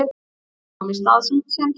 Snjór kom í stað sandsins.